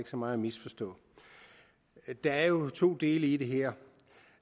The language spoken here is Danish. så meget at misforstå der er jo to dele i det her